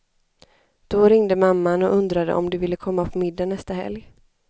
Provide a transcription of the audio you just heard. Då ringde mamman och undrade om de ville komma på middag nästa helg.